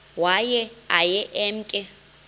waye aye emke